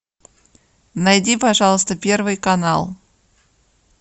найди пожалуйста первый канал